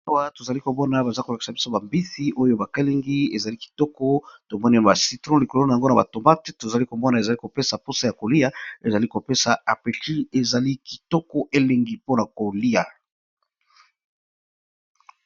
Awa tozali komona ba mbisi oyo balingi yango kitoko, ezopesa posa ya kolia